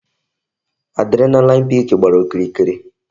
Adrenaline peak gbàrà okirikiri